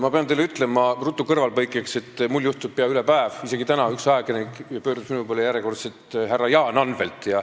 Ma pean teile ütlema, ruttu kõrvalepõikeks, et minu endaga juhtub seda peaaegu üle päeva – isegi täna üks ajakirjanik pöördus minu poole järjekordselt "härra Jaan Anvelt".